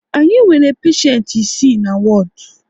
Anyị nwere peshent isii na wodu